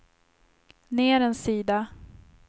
ner en sida